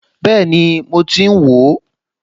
Bẹ́ẹ̀ni mo ti ń wò ó